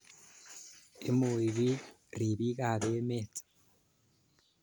Imui piik ripik ap emet.